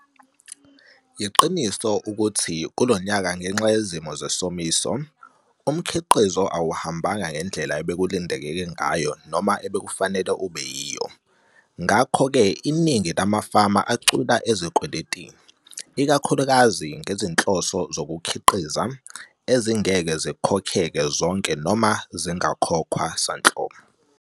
Yiqiniso ukuthi kulonyaka ngenxa yezimo zesomiso, umkhiqizo awuhambanga ngendlela ebekulindeleke ngayo noma obekufanele ube yiyo. Ngakho ke iningi lamafama acwila ezikweletini, ikakhulukazi ngezinhloso zokukhiqiza, ezingeke zikhokheke zonke noma zingakhokhwa sanhlobo.